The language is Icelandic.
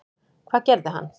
Hvað gerði hann?